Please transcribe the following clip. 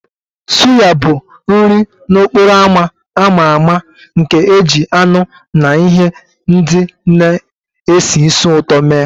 Suya bụ nri n'okporo ámá a ma ama nke e ji anụ na ihe ndị na-esi ísì ụtọ mee